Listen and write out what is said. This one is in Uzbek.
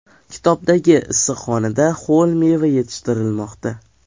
Kitobdagi issiqxonada ho‘l meva yetishtirilmoqda.